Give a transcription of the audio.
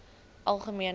algemene